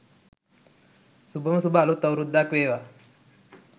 සුබම සුබ අලුත් අවුරැද්දක් වේවා.